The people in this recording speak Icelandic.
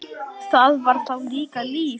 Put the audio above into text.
Það var þá líka líf!